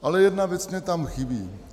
Ale jedna věc mi tam chybí.